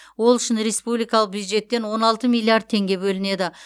ол үшін республикалық бюджеттен он алты миллиард теңге бөлінеді